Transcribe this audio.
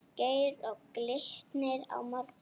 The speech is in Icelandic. Geir Og Glitnir á morgun?